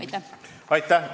Aitäh!